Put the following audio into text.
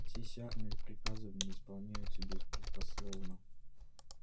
здесь армия и приказы в ней исполняются беспрекословно